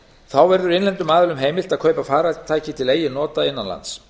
þá verður innlendum aðilum heimilt að kaupa farartæki til eigin nota innan lands